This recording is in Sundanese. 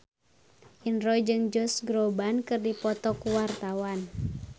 Indro jeung Josh Groban keur dipoto ku wartawan